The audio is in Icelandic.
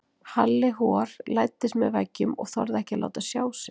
Halli hor læddist með veggjum og þorði ekki að láta sjá sig.